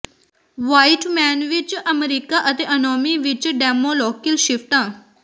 white man ਵਿਚ America ਅਤੇ anomie ਵਿਚ ਡੈਮੋਲੋਕਿਲ ਸ਼ਿਫਟਾਂ